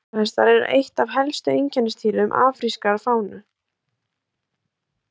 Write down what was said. Sebrahestar eru eitt af helstu einkennisdýrum afrískrar fánu.